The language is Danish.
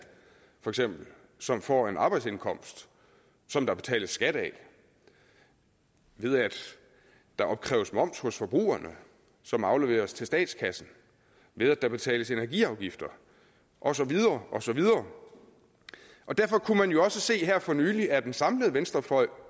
som får en arbejdsindkomst som der betales skat af ved at der opkræves moms hos forbrugerne som afleveres til statskassen ved at der betales energiafgifter og så videre og så videre derfor kunne man jo også se her for nylig at den samlede venstrefløj